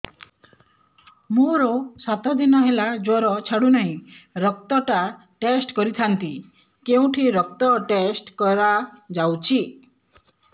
ମୋରୋ ସାତ ଦିନ ହେଲା ଜ୍ଵର ଛାଡୁନାହିଁ ରକ୍ତ ଟା ଟେଷ୍ଟ କରିଥାନ୍ତି କେଉଁଠି ରକ୍ତ ଟେଷ୍ଟ କରା ଯାଉଛି